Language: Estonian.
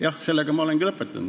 Jah, ma olengi lõpetanud.